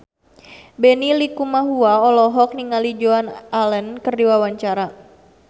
Benny Likumahua olohok ningali Joan Allen keur diwawancara